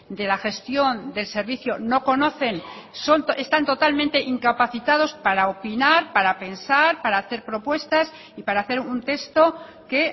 de la gestión del servicio no conocen están totalmente incapacitados para opinar para pensar para hacer propuestas y para hacer un texto que